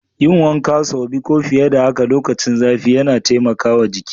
Yin wanka saubi ko fiye da haka lokacin zafi yana taimakawa jiki.